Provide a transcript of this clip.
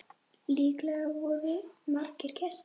Líklega voru margir gestir.